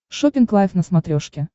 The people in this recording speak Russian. шоппинг лайф на смотрешке